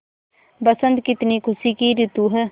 बसंत कितनी खुशी की रितु है